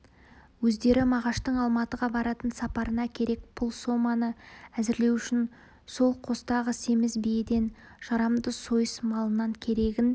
өздері мағаштың алматыға баратын сапарына керек пұл соманы әзірлеу үшін сол қостағы семіз биеден жарамды сойыс малынан керегін